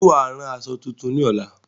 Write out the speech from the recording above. Ṣé wàá rán aṣọ tuntun ní ọ̀la?